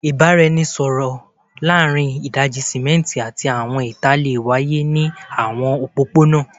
Awọn ibaraẹnisọrọ laarin idaji-simẹnti ati awọn ita le waye ni awọn opopona